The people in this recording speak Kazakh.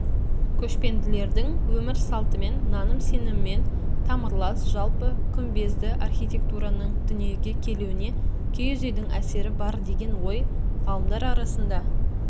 көшпенділердің өмір салтымен наным-сенімімен тамырлас жалпы күмбезді архитектураның дүниеге келуіне киіз үйдің әсері бар деген ой ғалымдар арасында